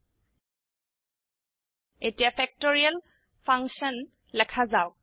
000316 000310 এতিয়া factorial function লেখা যাওক